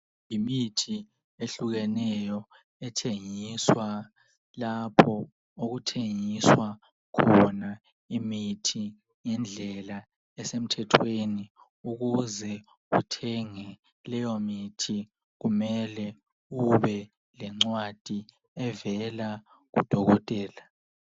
Yimithi ehlukeneyo ethengiswa lapho okuthengiswa khona imithi ngendlela esemthethweni ukuze uthenge leyo mithi kumele ubelencwadi evela kudokotela.